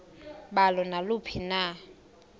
balo naluphi na